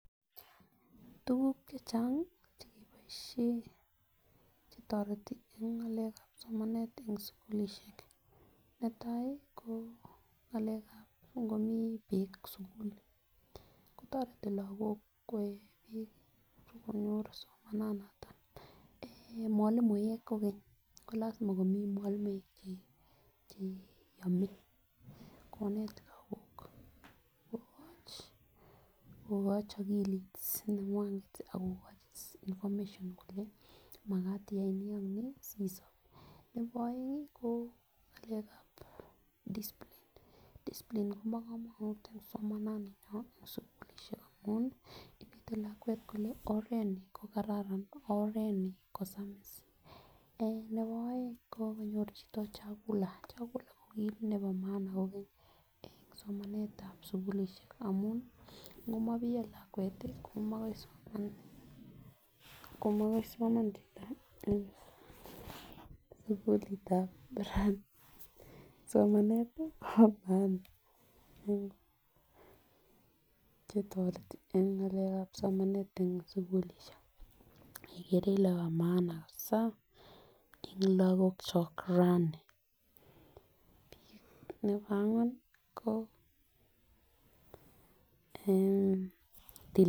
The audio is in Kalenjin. Tuguk chechang cheke boishen chetoreti en ng'alekab somanet netai ko ngo mi bik kotareti lakok koe bek mwalimuek ko lazima ko net lakok kokachi akilit neng'ung'et akokochi information kole magat iyai ni ak ni sisob. nebo aenge ko ng'alekab discipline koba kamanut en somannani en sugulisiek amuun ih inete lakok kole oret ni ko kararan ak oret ni kosamis. Nebo aenge ko konyor chito chakula kogile en somanetab amuun ngomabiyo lakuet ihko magoi soman en sugulitab barak somanet ih chetoreti en somanet en sugulisiek ikere Ile bo maana en lakokchak raani